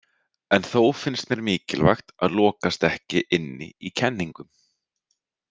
En þó finnst mér mikilvægt að lokast ekki inni í kenningum.